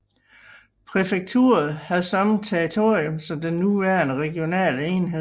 Præfekturet havde samme territorium som den nuværende regionale enhed